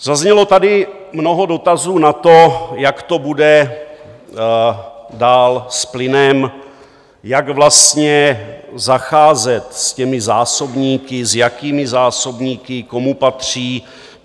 Zaznělo tady mnoho dotazů na to, jak to bude dál s plynem, jak vlastně zacházet s těmi zásobníky, s jakými zásobníky, komu patří.